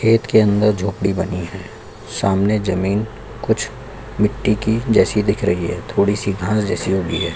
खेत के अन्दर झोंपड़ी बनी है सामने जमीन कुछ मिट्टी की जैसी दिख रही है थोड़ी सी घास जैसी उगी है।